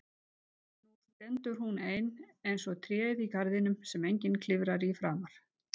Nú stendur hún ein eins og tréð í garðinum sem enginn klifrar í framar.